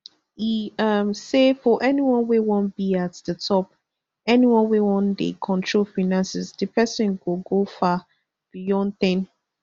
e um say for anyone wey wan be at di top anyone wey wan dey control finances di pesin go go far beyond ten